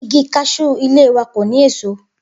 Igi kas̩ú ilé wa kò ní èso